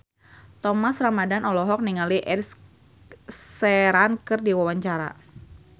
Thomas Ramdhan olohok ningali Ed Sheeran keur diwawancara